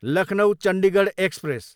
Lucknow, Chandigarh express